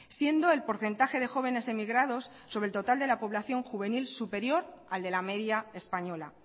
siendo el porcentaje de jóvenes emigrados sobre el total de la población juvenil superior al de la media española